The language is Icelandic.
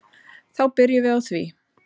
Þá byrjum við á því.